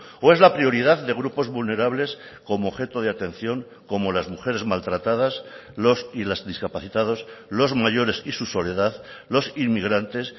o es la prioridad de grupos vulnerables como objeto de atención como las mujeres maltratadas los y las discapacitados los mayores y su soledad los inmigrantes